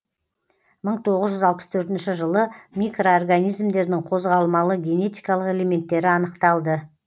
мың тоғыз жүз алпыс төртінші жылы микроорганизмдердің қозғалмалы генетикалық элементтері анықталды